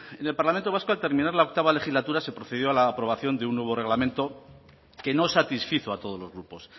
en el parlamento vasco al terminar la octava legislatura se procedido a la aprobación de un nuevo reglamento que no satisfizo a todos los grupos